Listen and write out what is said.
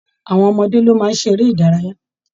Àwọn ọmọdé ló máa ń ṣeré ìdárayá